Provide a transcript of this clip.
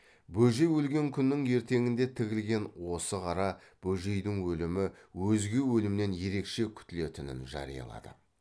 бөжей өлген күннің ертеңінде тігілген осы қара бөжейдің өлімі өзге өлімнен ерекше күтілетінін жариялады